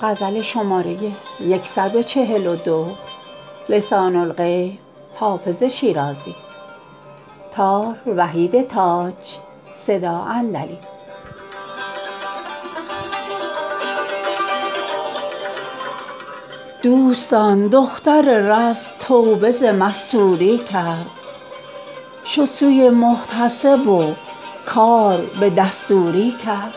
دوستان دختر رز توبه ز مستوری کرد شد سوی محتسب و کار به دستوری کرد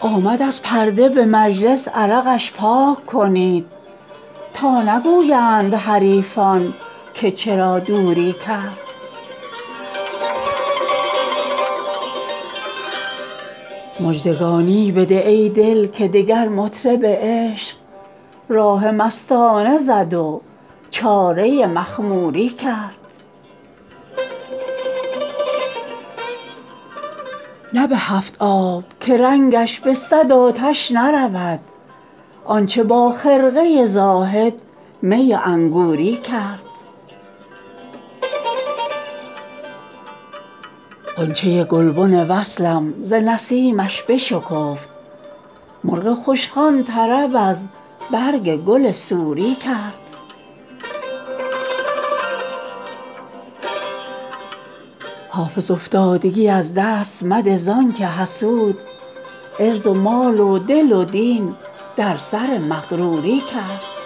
آمد از پرده به مجلس عرقش پاک کنید تا نگویند حریفان که چرا دوری کرد مژدگانی بده ای دل که دگر مطرب عشق راه مستانه زد و چاره مخموری کرد نه به هفت آب که رنگش به صد آتش نرود آن چه با خرقه زاهد می انگوری کرد غنچه گلبن وصلم ز نسیمش بشکفت مرغ خوشخوان طرب از برگ گل سوری کرد حافظ افتادگی از دست مده زان که حسود عرض و مال و دل و دین در سر مغروری کرد